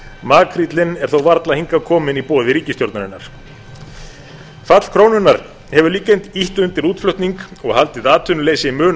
makríllinn er þó varla hingað kominn í boði ríkisstjórnarinnar fall krónunnar hefur líka ýtt undir útflutning og haldið atvinnuleysi mun